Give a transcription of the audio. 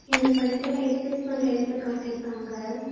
இந்த படத்துல எக்ஸர்சைஸ் பண்ற எடத்த காட்டிருக்காங்க.